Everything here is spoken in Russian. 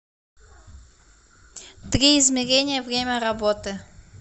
три измерения время работы